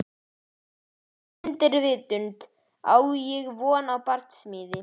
Í undirvitundinni á ég von á barsmíð.